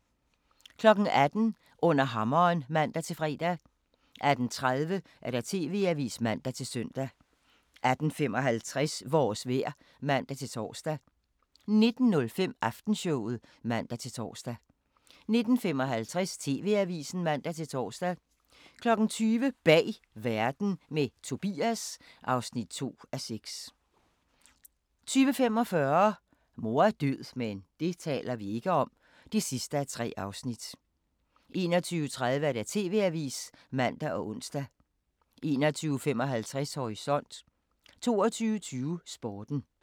18:00: Under hammeren (man-fre) 18:30: TV-avisen (man-søn) 18:55: Vores vejr (man-tor) 19:05: Aftenshowet (man-tor) 19:55: TV-avisen (man-tor) 20:00: Bag verden – med Tobias (2:6) 20:45: Mor er død – men det taler vi ikke om (3:3) 21:30: TV-avisen (man og ons) 21:55: Horisont 22:20: Sporten